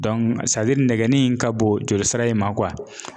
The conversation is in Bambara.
nɛgɛnin in ka bon joli sira in ma